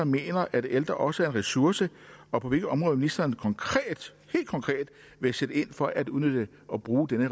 mener at ældre også er en ressource og på hvilke områder ministeren helt konkret vil sætte ind for at udnytte og bruge denne